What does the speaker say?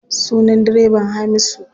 Sunan direban Hamisu.